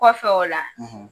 Kɔfɛ o la